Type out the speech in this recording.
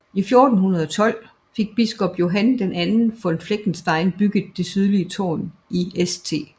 I 1412 fik biskop Johann II von Fleckenstein bygget det sydlige tårn i St